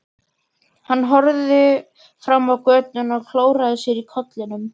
Hann horfði fram á götuna og klóraði sér í kollinum.